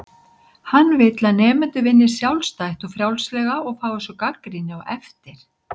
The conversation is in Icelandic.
Hann vill að nemendur vinni sjálfstætt og frjálslega og fái svo gagnrýni á eftir.